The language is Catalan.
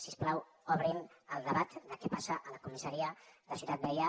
si us plau obrin el debat de què passa a la comissaria de ciutat vella